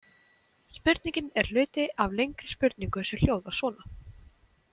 Spurningin er hluti af lengri spurningu sem hljóðar svona